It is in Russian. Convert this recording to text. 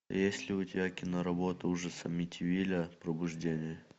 есть ли у тебя киноработа ужас амитивилля пробуждение